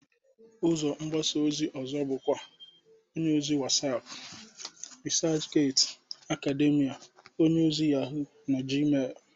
Ụzọ mgbasa ozi ọzọ bụkwa onyeozi Whatsap, Resachgati, Akademia, onyeozi Yahụ, na Gmel.